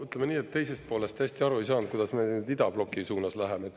Ütleme nii, et teisest poolest täiesti aru ei saanud, kuidas me nüüd idabloki suunas läheme.